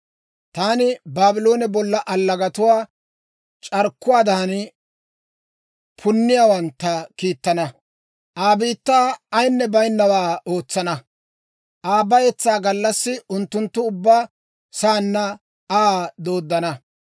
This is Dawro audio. Taani Baabloone bolla allagatuwaa, c'arkkuwaadan punniyaawantta kiittana; Aa biittaa ayinne baynawaa ootsana. Aa bayetsaa gallassi unttunttu ubba saanna Aa dooddana.